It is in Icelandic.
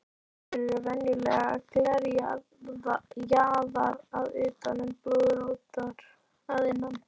Þær eru venjulega glerjaðar að utan en blöðróttar að innan.